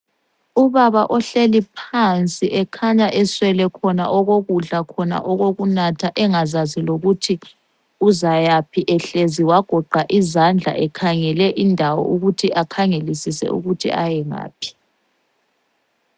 Ubaba ohleli phansi ekhanya eswele khona okokudla khona okokunatha engazazi lokuthi uzayaphi, ehlezi wagoqa izandla ekhangele indawo ukuthi akhangelisise ukuthi ayengaphi.